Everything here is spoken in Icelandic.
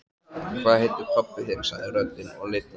Hvað heitir pabbi þinn? sagði röddin og lifnaði aftur.